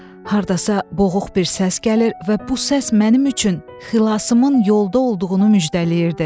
Hardasa boğuq bir səs gəlir və bu səs mənim üçün xilasımın yolda olduğunu müjdələyirdi.